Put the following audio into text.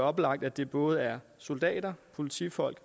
oplagt at det både er soldater politifolk